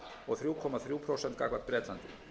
og þrjú komma þrjú prósent gagnvart bretlandi